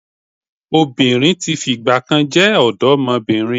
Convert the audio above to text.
Obìnrin tí fìgbà kan jẹ́ ọ̀dọ́mọbìnrin